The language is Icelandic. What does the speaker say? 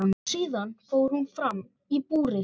Síðan fór hún fram í búrið.